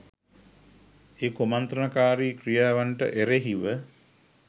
ඒ කුමන්ත්‍රණකාරී ක්‍රියාවන්ට එරෙහිව